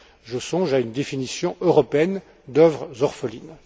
Je songe à une définition européenne des œuvres orphelines.